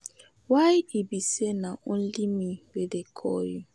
Why e be say na only me wey dey call you.